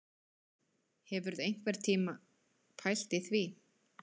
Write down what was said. Hefurðu einhvern tíma pælt í því